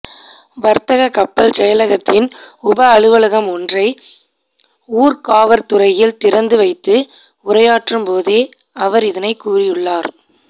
வர்த்தக கப்பல் செயலகத்தின் உப அலுவலகம் ஒன்றை ஊர்காவற்துறையில் திறந்து வைத்து உரையாற்றும் போதே அவர் இதனை கூறியுள்ளார்